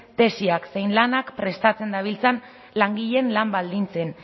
tesiak zein lanak prestatzen dabiltzan langileen lan baldintzen